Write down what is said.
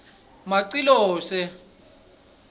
macilose